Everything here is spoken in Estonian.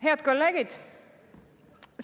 Head kolleegid!